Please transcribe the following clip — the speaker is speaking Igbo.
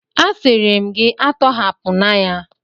Asịrị m gị a tọhapụna ya!